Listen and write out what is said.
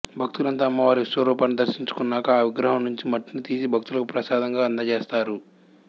భక్తులంతా అమ్మవారి విశ్వరూపాన్ని దర్శించుకున్నాక ఆ విగ్రహం నుంచి మట్టిని తీసి భక్తులకు ప్రసాదంగా అందజేస్తారు